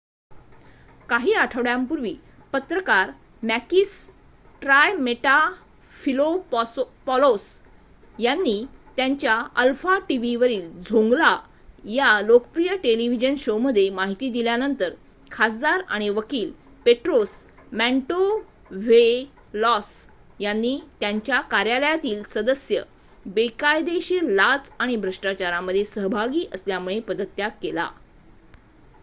"काही आठवड्यांपूर्वी पत्रकार मॅकिस ट्रायमेटाफिलोपॉलोस यांनी त्यांच्या अल्फा टीव्हीवरील "झोंगला" या लोकप्रिय टेलिव्हिजन शोमध्ये माहिती दिल्यानंतर खासदार आणि वकील पेट्रोस मॅन्टोव्हेलॉस यांनी त्यांच्या कार्यालयातील सदस्य बेकायदेशीर लाच आणि भ्रष्टाचारामध्ये सहभागी असल्यामुळे पदत्याग केला.